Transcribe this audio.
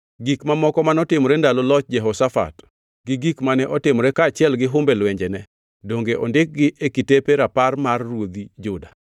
Gik mamoko manotimore ndalo loch Jehoshafat gi gik mane otimo kaachiel gi humbe lwenjene, donge ondikgi e kitepe rapar mar ruodhi Juda?